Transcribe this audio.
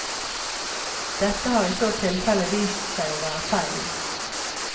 Dette har i så tilfelle vist seg å være feil.